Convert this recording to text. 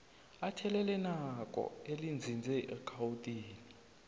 athelelanako elinzinze egauteng